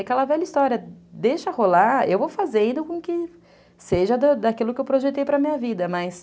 Aquela velha história, deixa rolar, eu vou fazendo com que seja daquilo que eu projetei para a minha vida, mas...